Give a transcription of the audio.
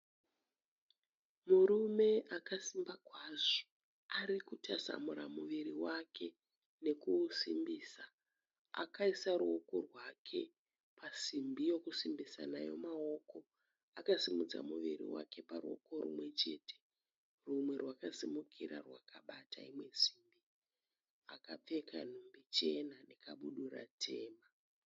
Murume akasimba kwazvo, arikutasamura muviri wake nekuusimbisa. Akaisa ruoko rwake pasimbi yokusimbisa nayo maoko. Akasimudza muviri wake paruoko rimwechete. Rumwe rwakasimukira rwakabata imwe simbi. Akapfeka nhumbi chena nekabudura tema.